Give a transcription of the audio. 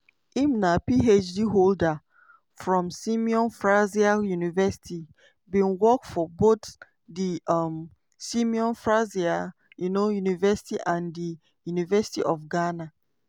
im na phd holder from simon fraser university bin work for both di um simon fraser um university and di university of ghana.